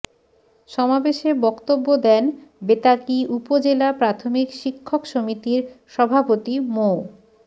সমাবেশে বক্তব্য দেন বেতাগী উপজেলা প্রাথমিক শিক্ষক সমিতির সভাপতি মো